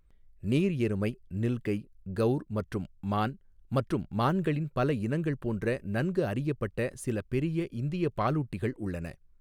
நீர் எருமை, நில்கை, கௌர் மற்றும் மான் மற்றும் மான்களின் பல இனங்கள் போன்ற நன்கு அறியப்பட்ட சில பெரிய இந்திய பாலூட்டிகள் உள்ளன.